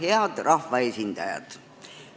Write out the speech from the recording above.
Head rahvaesindajad!